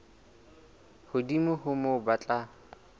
hodimo ho moo ba tla